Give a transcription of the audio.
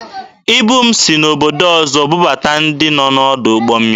Ibu m si n'obodo ọzọ bubata dị n'ọdụ ụgbọ mmiri.